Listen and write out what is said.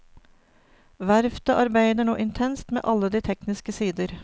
Verftet arbeider nå intenst med alle de tekniske sider.